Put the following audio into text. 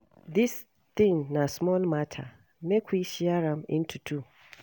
Dis thing na small matter, make we share am into two